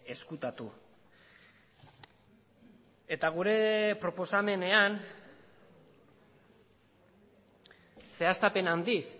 ezkutatu eta gure proposamenean zehaztapen handiz